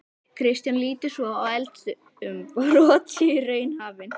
Kristján: Líturðu svo á að eldsumbrot séu í raun hafin?